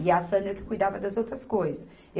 E a Sandra que cuidava das outras coisas.